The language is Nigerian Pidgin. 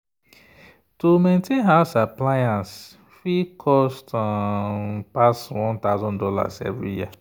to maintain house appliance fit cost um pass one thousand dollars every year.